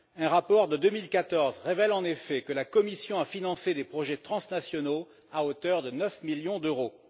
Un rapport de 2014 révèle, en effet, que la Commission a financé des projets transnationaux à hauteur de 9 millions d'euros.